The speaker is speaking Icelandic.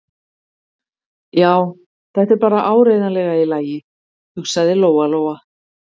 Já, þetta er bara áreiðanlega í lagi, hugsaði Lóa-Lóa.